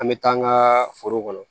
An bɛ taa an ka foro kɔnɔ